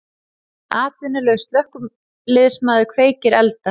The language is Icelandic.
Atvinnulaus slökkviliðsmaður kveikir elda